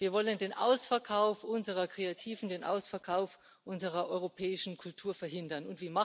Wir wollen den Ausverkauf unserer Kreativen, den Ausverkauf unserer europäischen Kultur verhindern.